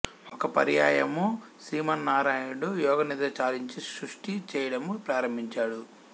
ఒక పర్యాయము శ్రీమన్నారాయణుడు యోగ నిద్ర చాలించి సృష్టి చేయడము ప్రారంభించాడు